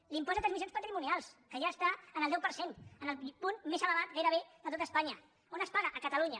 l’impost de transmissions patrimonials que ja està en el deu per cent en el punt més elevat gairebé de tot espanya on es paga a catalunya